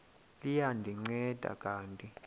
liya ndinceda kanti